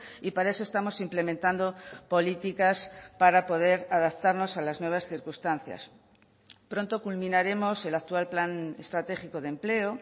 y para eso estamos implementando políticas para poder adaptarnos a las nuevas circunstancias pronto culminaremos el actual plan estratégico de empleo